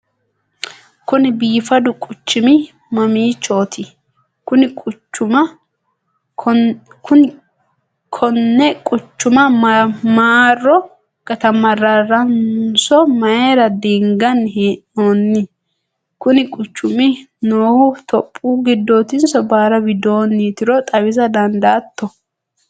kuni biifadu quccumi mamiichooti? konni quchuma marro gatamarraranso mayiira diinganni hee'noonni? kuni quchumi noohu topiyu giddootinso baara widoonnitiro xawisa dandaatto?